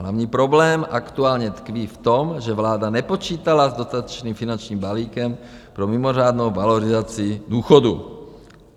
Hlavní problém aktuálně tkví v tom, že vláda nepočítala s dotačním finančním balíkem pro mimořádnou valorizaci důchodů.